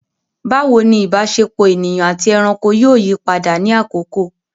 Bawo ni ìbáṣepọ̀ ènìyàn àti ẹranko yóò yí padà ní àkókò?